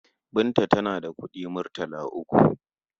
Binta tana da kuɗi murtala uku.